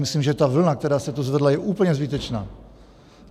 Myslím, že ta vlna, která se tu zvedla, je úplně zbytečná.